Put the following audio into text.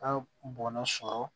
Ka bɔnna sɔrɔ